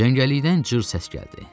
Cəngəlikdən cır səs gəldi.